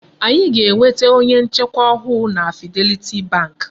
Anyị ga-enweta onye nchekwa ọhụụ na Fidelity bank.